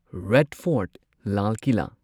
red fort Lal Qila